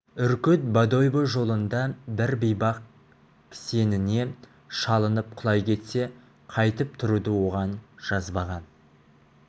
үркіт бодойбо жолында бір бейбақ кісеніне шалынып құлай кетсе қайтып тұруды оған жазбаған